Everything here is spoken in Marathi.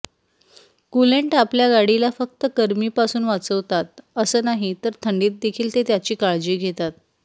कूलेंट आपल्या गाडीला फक्त गरमीपासून वाचवतात असं नाही तर थंडीत देखील ते त्याची काळजी घेतात